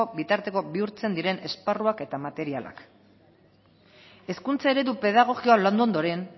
bitarteko bihurtzen diren esparruak eta materialak hezkuntza eredu pedagogia landu ondoren